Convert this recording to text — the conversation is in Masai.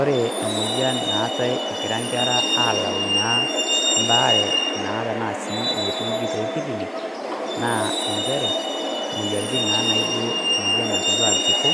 Ore emoyian naatai egira inkera aalayu mbaare naa tana sii metuudi sii te kilinik, naa enchere, imoyiaritn naa naijo iltipo,